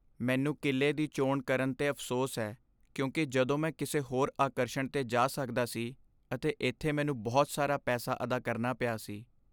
ਮੈਨੂੰ ਕਿਲ੍ਹੇ ਦੀ ਚੋਣ ਕਰਨ 'ਤੇ ਅਫ਼ਸੋਸ ਹੈ, ਕਿਉਂਕਿ ਜਦੋਂ ਮੈਂ ਕਿਸੇ ਹੋਰ ਆਕਰਸ਼ਣ 'ਤੇ ਜਾ ਸਕਦਾ ਸੀ ਅਤੇ ਇੱਥੇ ਮੈਨੂੰ ਬਹੁਤ ਸਾਰਾ ਪੈਸਾ ਅਦਾ ਕਰਨਾ ਪਿਆ ਸੀ।